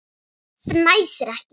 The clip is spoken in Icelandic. Fnæsir ekki.